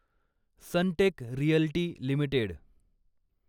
Sunteck realty limited